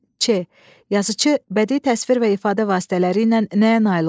Ç. Yazıçı bədii təsvir və ifadə vasitələri ilə nəyə nail olub?